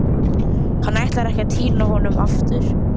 Hann ætlaði ekki að týna honum aftur!